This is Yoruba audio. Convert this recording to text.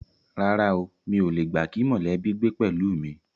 Rárá o, mi ò le gbà kí mọ̀lẹ́bí gbé pẹ̀lú mi